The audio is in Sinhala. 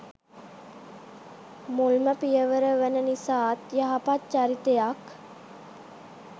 මුල්ම පියවර වන නිසාත් යහපත් චරිතයක්